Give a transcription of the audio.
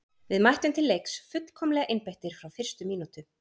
Við mættum til leiks fullkomlega einbeittir frá fyrstu mínútu.